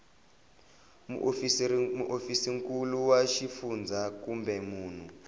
muofisirinkulu wa xifundzha kumbe munhu